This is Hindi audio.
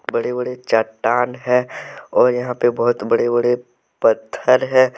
बड़े बड़े चट्टान है और यहां पे बहुत बड़े बड़े पत्थर हैं।